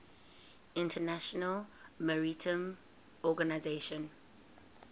international maritime organization